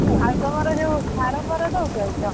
ଆଉ ତମର ଯୋଉ ସାର ଫାର ଦଉଛ କି କଁ?